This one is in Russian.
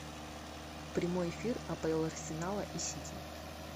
прямой эфир апл арсенала и сити